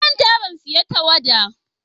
Na manta ban siyan tawada.